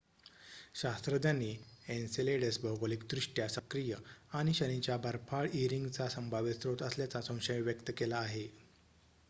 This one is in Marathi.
शास्त्रज्ञांनी एन्सेलेडस भौगोलिकदृष्ट्या सक्रिय आणि शनीच्या बर्फाळ ई रिंगचा संभाव्य स्रोत असल्याचा संशय व्यक्त केला आहे